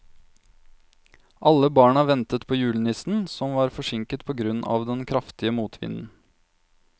Alle barna ventet på julenissen, som var forsinket på grunn av den kraftige motvinden.